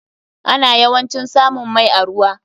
Ana yawancin samun mai a ruwa.